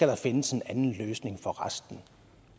der findes en anden løsning for resten